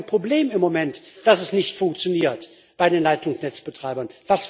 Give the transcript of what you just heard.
Wir haben doch gar kein Problem im Moment, dass es nicht funktioniert bei den Leitungsnetzbetreibern.